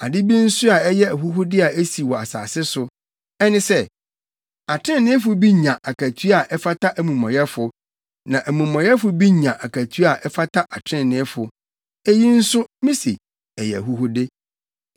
Ade bi nso a ɛyɛ ahuhude a esi wɔ asase so, ɛne sɛ, atreneefo bi nya akatua a ɛfata amumɔyɛfo, na amumɔyɛfo bi nya akatua a ɛfata atreneefo. Eyi nso, mise ɛyɛ ahuhude.